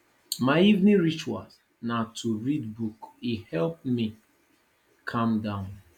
my evening ritual na to read book e help me calm down